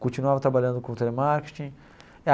Continuava trabalhando com telemarketing.